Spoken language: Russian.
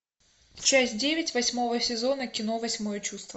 часть девять восьмого сезона кино восьмое чувство